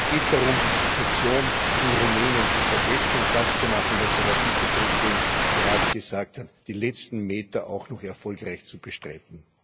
Es geht darum, die Situation in Rumänien zu verbessern und das zu machen, was der Herr Vizepräsident gerade gesagt hat, nämlich auch noch die letzten Meter erfolgreich zu bestreiten.